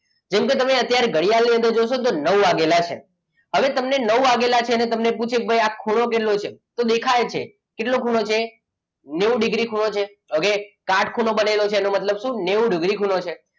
જેમકે તમે અત્યારે ઘડિયાળ ની અંદર જોશો તો નવ વાગેલા છે હવે તમને નવ વાગેલા છે અને તમને પૂછે કે ભાઈ આ ખૂણો કેટલો છે તો દેખાય જ છે કેટલો ખૂણો છે નેવું ડિગ્રી ખૂણો છે okay કાટખૂણો બનેલો છે એનો મતલબ શું? નેવું ડિગ્રી ખૂણો છે.